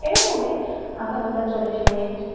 এরকমি আধাঘণ্টা চল্লিশমিনিট।